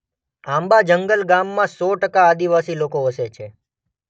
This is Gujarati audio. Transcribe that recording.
આંબા જંગલ ગામમાં સો ટકા આદિવાસી લોકો વસે છે.